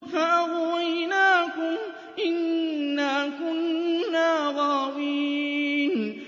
فَأَغْوَيْنَاكُمْ إِنَّا كُنَّا غَاوِينَ